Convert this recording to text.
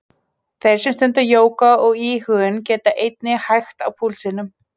Þeir sem stunda jóga og íhugun geta einnig hægt á púlsinum.